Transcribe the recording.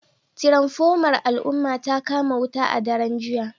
Tiranfomar al'umma ta kama wuta a daren jiya